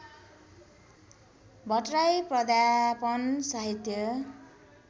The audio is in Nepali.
भट्टराई प्राध्यापन साहित्य